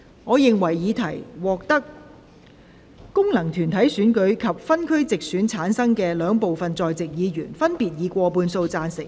我認為議題獲得經由功能團體選舉產生及分區直接選舉產生的兩部分在席議員，分別以過半數贊成。